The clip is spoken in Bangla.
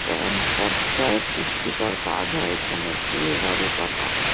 কম খরচায় পুষ্টিকর কাজ হয় এখানে। চুল দাঁড়ি কাটা।